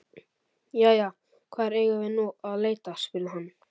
Jæja, hvar eigum við nú að leita? spurði hann.